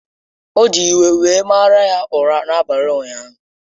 O ji iwe were mara ya ụra n’abalị ụnyaahụ.